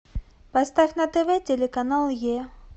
поставь на тв телеканал е